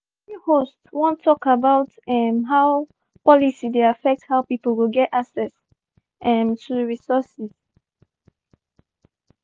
di library host one tok about um how policy dey affect how pipu go get access um to resources.